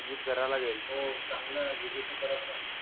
Visit करा लागेल. हो चांगला विषय ठरत नाही.